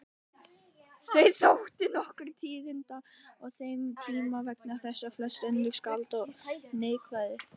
Þau þóttu nokkur tíðindi á þeim tíma vegna þess hvað flest önnur skáld voru neikvæð.